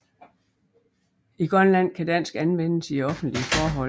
I Grønland kan dansk anvendes i offentlige forhold